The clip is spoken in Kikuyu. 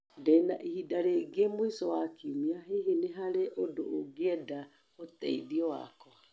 Ndĩ na ihinda ringĩ mũico wa kiumia, hihi nĩ harĩ ũndũ ũngĩenda ũteithio wakwa?